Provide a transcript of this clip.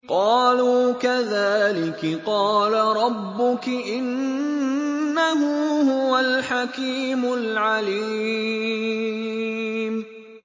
قَالُوا كَذَٰلِكِ قَالَ رَبُّكِ ۖ إِنَّهُ هُوَ الْحَكِيمُ الْعَلِيمُ